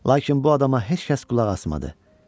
Lakin bu adama heç kəs qulaq asmadı.